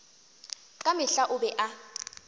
ka mehla o be a